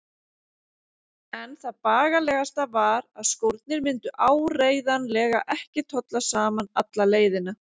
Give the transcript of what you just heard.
En það bagalegasta var að skórnir myndu áreiðanlega ekki tolla saman alla leiðina.